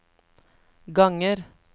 ganger